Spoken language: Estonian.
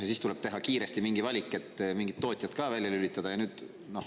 Siis tuleb teha kiiresti mingi valik, et mingid tootjad ka välja lülitada.